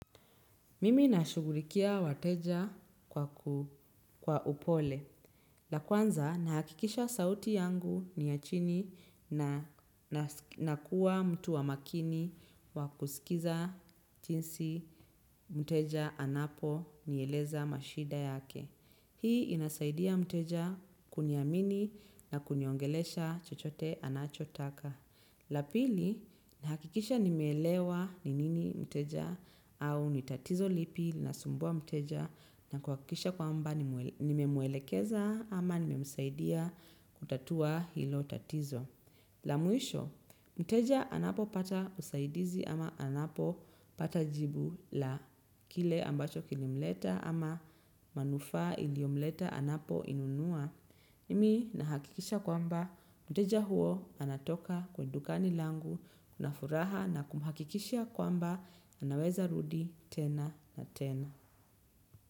Mimi nashugurikia wateja kwa upole. La kwanza nahakikisha sauti yangu ni ya chini na kuwa mtu wa makini wa kusikiza chinsi mteja anaponieleza mashida yake. Hii inasaidia mteja kuniamini na kuniongelesha chochote anachotaka. La pili, nahakikisha nimeelewa ni nini mteja au ni tatizo lipi linasumbua mteja na kuhakikisha kwamba nimemuelekeza ama nimemsaidia kutatua hilo tatizo. La mwisho, mteja anapopata usaidizi ama anapopata jibu la kile ambacho kilimleta ama manufaa iliomleta anapoinunua. Mi nahakikisha kwamba mteja huo anatoka kwa dukani langu na furaha na kumhakikishia kwamba anaweza rudi tena na tena.